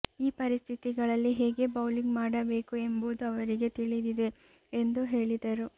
ಈ ಪರಿಸ್ಥಿತಿಗಳಲ್ಲಿ ಹೇಗೆ ಬೌಲಿಂಗ್ ಮಾಡುಬೇಕು ಎಂಬುದು ಅವರಿಗೆ ತಿಳಿದಿದೆ ಎಂದು ಹೇಳಿದರು